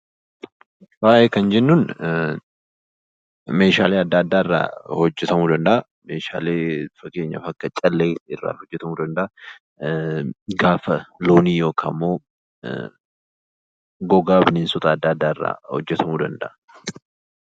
Faaya kan jennu meeshaalee adda addaa irraa hojjetamuu danda'a, akka fakkeenyaatti callee, gaafa loonii, gogaa bineensota adda addaa irraa hojjetamuu danda'a.